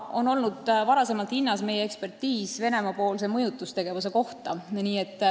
Ka on varem olnud hinnas meie ekspertiis Venemaa mõjutustegevuse kohta.